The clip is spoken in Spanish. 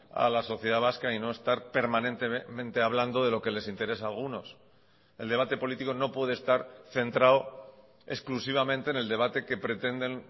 a la sociedad vasca y no estar permanentemente hablando de lo que les interesa a algunos el debate político no puede estar centrado exclusivamente en el debate que pretenden